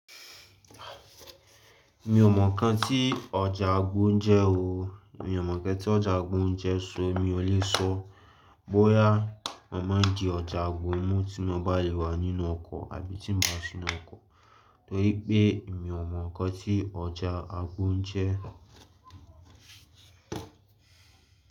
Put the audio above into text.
Mi ò mọ̀ nǹkan tí ọjà àgbò n jẹ́ ọ. Mi ò mọ̀ nǹkan tí ọjà àgbo jẹ́, so mi ò lè sọ bóyá é má di ọjà àgbo, mú tí mo bá lè wà nínú ọkọ̀ àbí tí n bá sinu ọkọ̀ torí pé mi ò mọ̀ nǹkan tí ọjà àgbo jẹ́.